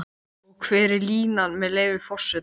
Og hver er línan, með leyfi forseta?